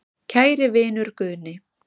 Kæri vinur Guðni.